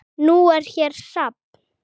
Nú er hér safn.